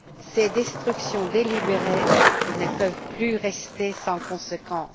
Ces destructions délibérées ne peuvent plus rester sans conséquence.